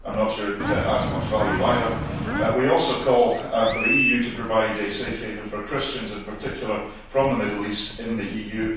I am not sure it adds much value either. We also call for the EU to provide a safe haven for Christians, in particular from the Middle East, in the EU.